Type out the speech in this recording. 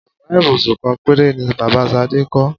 Yàrá ìbùsùn kan péré ni bàbá Sadé kó̩.